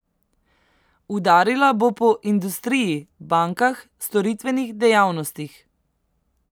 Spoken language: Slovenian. Udarila bo po industriji, bankah, storitvenih dejavnostih.